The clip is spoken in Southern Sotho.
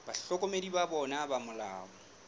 bahlokomedi ba bona ba molao